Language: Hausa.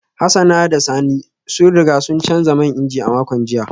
Hassan da Sani sun riga sun canza man inji a makon jiya